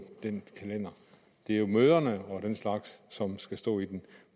den kalender det er møderne og den slags som skal stå i den